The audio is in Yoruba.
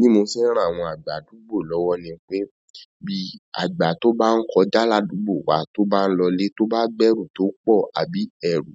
Bí mo ṣe ń ràn àwọn àgbà àdúgbò lọ́wọ́ ni pé bí àgbà tí o baa ń kọjá ládùgbò wa tó bá ń lole tó bá gbẹ́rù tó pọ̀ àbí ehn,